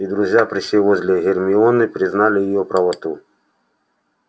и друзья присев возле гермионы признали её правоту